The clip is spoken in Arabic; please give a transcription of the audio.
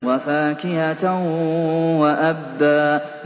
وَفَاكِهَةً وَأَبًّا